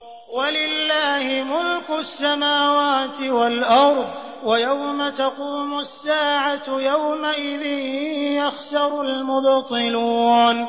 وَلِلَّهِ مُلْكُ السَّمَاوَاتِ وَالْأَرْضِ ۚ وَيَوْمَ تَقُومُ السَّاعَةُ يَوْمَئِذٍ يَخْسَرُ الْمُبْطِلُونَ